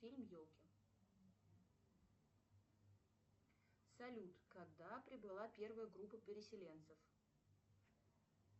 фильм елки салют когда прибыла первая группа переселенцев